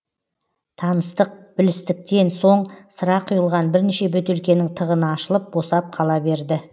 таныстық білістіктен соң сыра құйылған бірнеше бөтелкенің тығыны ашылып босап қала берді